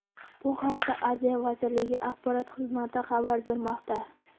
Bu haqda Adliya vazirligi Axborot xizmati xabar bermoqda .